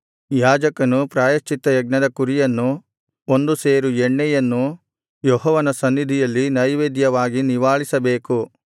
ಯಾಜಕನು ಪ್ರಾಯಶ್ಚಿತ್ತಯಜ್ಞದ ಕುರಿಯನ್ನು ಒಂದು ಸೇರು ಎಣ್ಣೆಯನ್ನು ಯೆಹೋವನ ಸನ್ನಿಧಿಯಲ್ಲಿ ನೈವೇದ್ಯವಾಗಿ ನಿವಾಳಿಸಬೇಕು